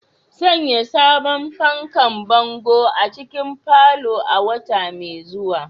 Sanya sabon fanfo bango a cikin parlour a wata mai zuwa